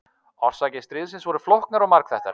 Orsakir stríðsins voru flóknar og margþættar.